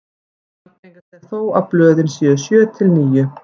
algengast er þó að blöðin séu sjö til níu